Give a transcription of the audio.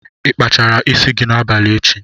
Ịkpachara isi gị n'abalị echi?